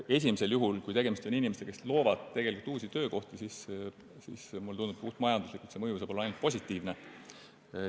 Esimesel juhul, kui tegemist on inimestega, kes loovad uusi töökohti, tundub mulle nii, et puhtmajanduslikult saab mõju olla ainult positiivne.